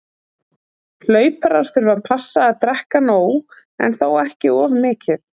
Hlauparar þurfa að passa að drekka nóg- en þó ekki of mikið.